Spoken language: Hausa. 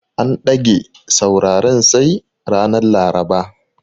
An ɗage sauraren sai ranar Laraba.